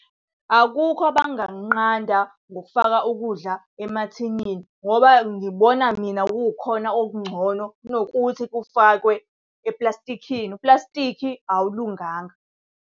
Akukho abangakunqanda ngokufaka ukudla emathinini ngoba ngibona mina kukhona okungcono kunokuthi kufakwe eplastikhini. Uplastikhi awalunganga.